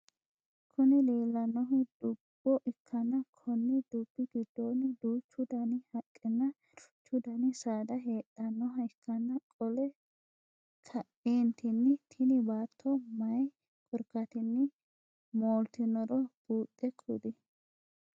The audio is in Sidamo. Kuni leellannohu dubbo ikkana konni dubbi gidono duuchu Dani haqqenna duuchu Dani saada heedhanoha ikkana qole kaeenttinni tini baatto maayii korkaatinni mooltinoro buuxe kuli?